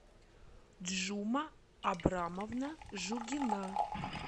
джума абрамовна жугина